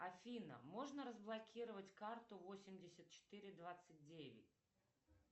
афина можно разблокировать карту восемьдесят четыре двадцать девять